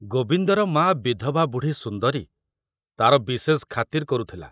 ଗୋବିନ୍ଦର ମା ବିଧବା ବୁଢ଼ୀ ସୁନ୍ଦରୀ ତାର ବିଶେଷ ଖାତିର କରୁଥିଲା।